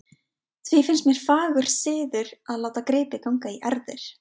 Því finnst mér fagur siður að láta gripi ganga í erfðir.